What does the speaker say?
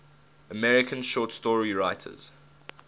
american short story writers